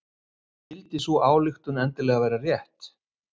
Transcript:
En skyldi sú ályktun endilega vera rétt?